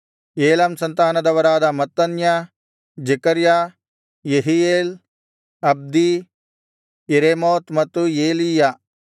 Elam ಸಂತಾನದವರಾದ Mattaniah Zechariah Jehiel Abdi Jeremoth ಮತ್ತು Elijah